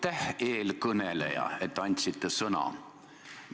Aitäh, eelkõneleja, et andsite sõna!